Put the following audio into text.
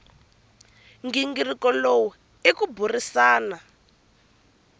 nghingiriko lowu i ku burisana